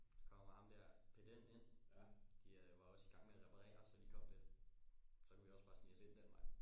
Så kommer ham der pedellen ind de var også igang med at reparere så de kom lidt og så kunne vi også bare snige os ind den vej